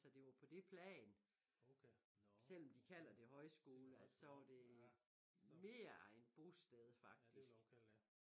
Så det var på det plan selvom de kalder det højskole at så var det mere et bosted faktisk